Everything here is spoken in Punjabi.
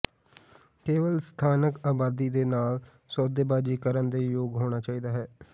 ਕੇਵਲ ਸਥਾਨਕ ਆਬਾਦੀ ਦੇ ਨਾਲ ਸੌਦੇਬਾਜ਼ੀ ਕਰਨ ਦੇ ਯੋਗ ਹੋਣਾ ਚਾਹੀਦਾ ਹੈ